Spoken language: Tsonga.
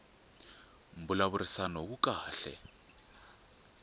mbulavurisano wu kahle